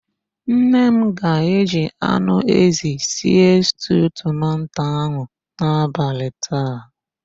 Nne m ga-eji anụ ézì sie stuu tomanto ahụ n'abalị taa.